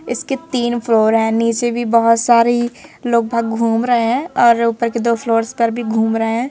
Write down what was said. इसके तीन फ्लोर हैं नीचे भी बहुत सारी लोग भग घूम रहे हैं और ऊपर के दो फ्लोर्स पर भी घूम रहे है।